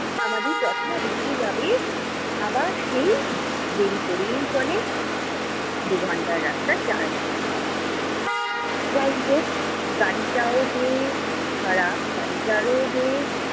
আমাদের যথা-রীতি ভাবে আবার সেই দেরি করেই চলে, দু'ঘন্টার রাস্তা চার ঘন্টা করে। যাই হোক, গাড়িটাও যে খারাপ গাড়িটারও যে